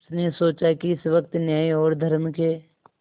उसने सोचा मैं इस वक्त न्याय और धर्म के